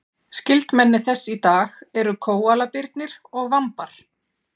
skyldmenni þess í dag eru kóalabirnir og vambar